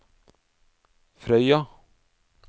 Frøya